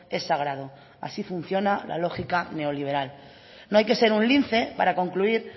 es sagrado así funciona la lógica neoliberal no hay que ser un lince para concluir